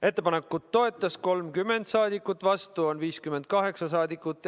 Ettepanekut toetas 30 saadikut, vastu on 58 saadikut.